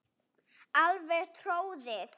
Alveg troðið.